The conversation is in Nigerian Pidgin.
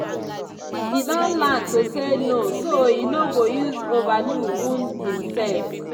e don learn to say no so e no go use overdo wound imself.